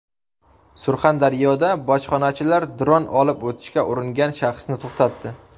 Surxondaryoda bojxonachilar dron olib o‘tishga uringan shaxsni to‘xtatdi.